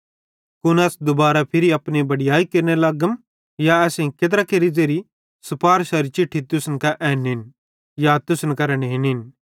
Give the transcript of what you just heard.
कुन अस दुबारा फिरी अपनी बड़याई केरने लगम या असेईं केत्रा केरि ज़ेरी सुपारशारी चिट्ठी तुसन कां ऐनिन या तुसन करां नेनिन